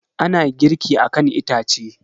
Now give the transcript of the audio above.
Ana girki akan itace.